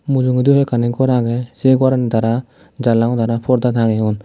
mujungendi hoiekkani gor agey se gorani tara janala gunot tara porda tangeyon.